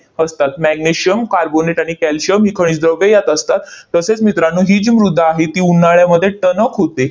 असतात, magnesium, carbonate आणि calcium ही खनिज द्रव्ये यात असतात. तसेच मित्रांनो, ही जी मृदा आहे, ती उन्हाळ्यामध्ये टणक होते.